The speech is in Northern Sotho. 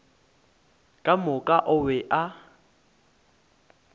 ka moka o be a